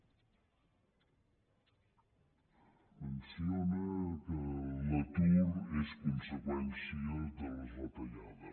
menciona que l’atur és conseqüència de les retallades